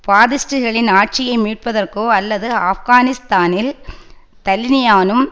பாத்திஸ்டுகளின் ஆட்சியை மீட்பதற்கோ அல்லது ஆப்கானிஸ்தானில் தலினிபானும்